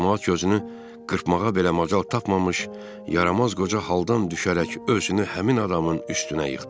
Camaat gözünü qırpmağa belə macal tapmamış, yaramaz qoca haldan düşərək özünü həmin adamın üstünə yıxdı.